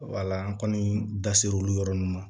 Wala an kɔni da ser'olu yɔrɔ ma